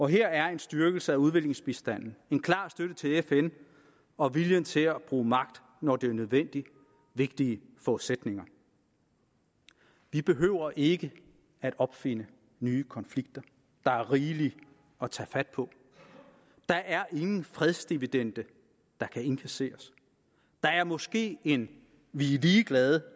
her er en styrkelse af udviklingsbistanden en klar støtte til fn og viljen til at bruge magt når det er nødvendigt vigtige forudsætninger vi behøver ikke at opfinde nye konflikter der er rigeligt at tage fat på der er ingen fredsdividende der kan indkasseres der er måske en vi er ligeglade